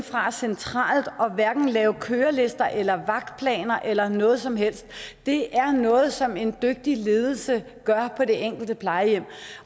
fra centralt hold hverken lave kørelister eller vagtplaner eller noget som helst det er noget som en dygtig ledelse gør på det enkelte plejehjem